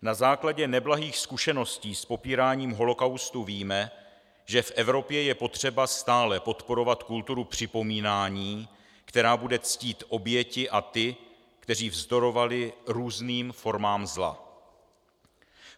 Na základě neblahých zkušeností s popíráním holocaustu víme, že v Evropě je potřeba stále podporovat kulturu připomínání, která bude ctít oběti a ty, kteří vzdorovali různým formám zla.